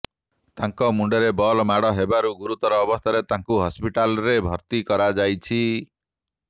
ତାଙ୍କ ମୁଣ୍ଡରେ ବଲ୍ ମାଡ଼ ହେବାରୁ ଗୁରୁତର ଅବସ୍ଥାରେ ତାଙ୍କୁ ହସ୍ପିଟାଲ୍ରେ ଭର୍ତ୍ତି କରାଯାଇଛି